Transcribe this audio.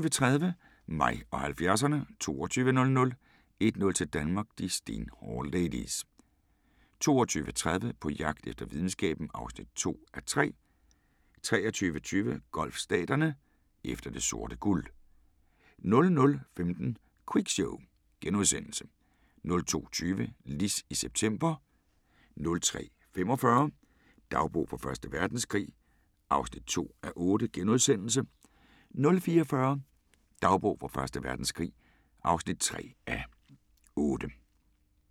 21:30: Mig og 70'erne 22:00: 1-0 til Danmark: De stenhårde ladies 22:30: På jagt efter videnskaben (2:3) 23:20: Golfstaterne: Efter det sorte guld 00:15: Quiz Show * 02:20: Liz i september 03:45: Dagbog fra Første Verdenskrig (2:8)* 04:40: Dagbog fra Første Verdenskrig (3:8)